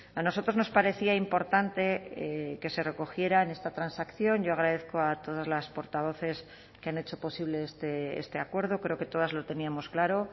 a nosotros nos parecía importante que se recogiera en esta transacción yo agradezco a todas las portavoces que han hecho posible este acuerdo creo que todas lo teníamos claro